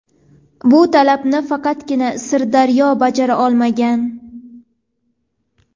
Bu talabni faqatgina Sirdaryo bajara olmagan.